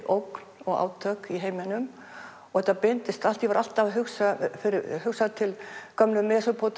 ógn og átök í heiminum og þetta birtist allt ég var alltaf að hugsa hugsa til gömlu